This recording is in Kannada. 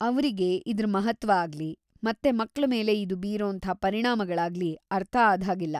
ಅವ್ರಿಗೆ ಇದ್ರ ಮಹತ್ತ್ವ ಆಗ್ಲಿ ಮತ್ತೆ ಮಕ್ಳ ಮೇಲೆ ಇದು ಬೀರೋಂಥ ಪರಿಣಾಮಗಳಾಗ್ಲಿ ಅರ್ಥ ಆದ್ಹಾಗಿಲ್ಲ.